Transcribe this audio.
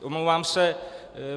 Omlouvám se.